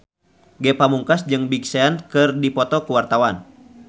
Ge Pamungkas jeung Big Sean keur dipoto ku wartawan